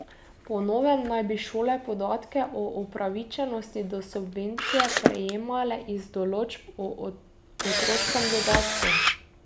Po novem naj bi šole podatke o upravičenosti do subvencije prejemale iz odločb o otroškem dodatku.